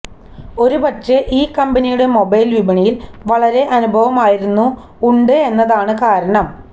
ഒരുപക്ഷേ ഈ കമ്പനിയുടെ മൊബൈൽ വിപണിയിൽ വളരെ അനുഭവമായിരുന്നു ഉണ്ട് എന്നതാണ് കാരണം